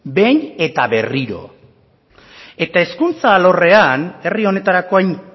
behin eta berriro eta hezkuntza alorren herri honetarako hain